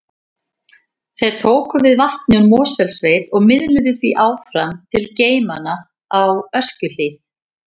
Þeir tóku við vatni úr Mosfellssveit og miðluðu því áfram til geymanna á Öskjuhlíð.